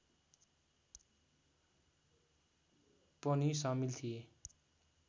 पनि सामिल थिए